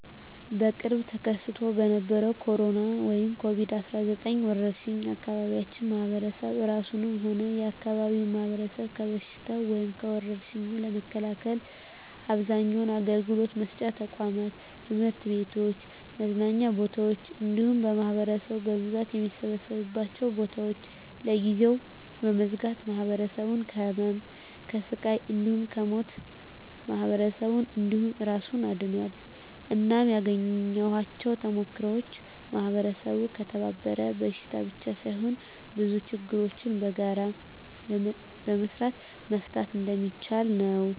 በቅርቡ ተከስቶ በነበረዉ በኮሮና(ኮቪድ 19) ወረርሽ የአካባቢያችን ማህበረሰብ እራሱንም ሆነ የአካባቢውን ማህበረሰብ ከበሽታዉ (ከወርሽኙ) ለመከላከል አብዛኛዉን አገልግሎት መስጫ ተቋማት(ትምህርት ቤቶችን፣ መዝናኛ ቦታወችን እንዲሁም ማህበረሰቡ በብዛት የሚሰበሰብባቸዉን ቦታወች) ለጊዜዉ በመዝጋት ማህበረሰቡን ከህመም፣ ከስቃይ እንዲሁም ከሞት ማህበረሰብን እንዲሁም እራሱን አድኗል። እናም ያገኘኋቸዉ ተሞክሮወች ማህበረሰቡ ከተባበረ በሽታን ብቻ ሳይሆን ብዙ ነገሮችን በጋራ በመስራት መፍታት እንደሚችል ነዉ።